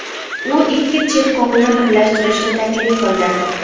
U ikki cherkovni birlashtirishni taklif qildi.